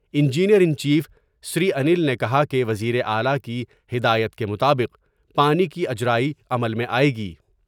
Engineer in chief Sri Anil نے کہا کہ وزیراعلی کی ہدایت کے مطابق پانی کی اجرائی عمل میں آۓ گی ۔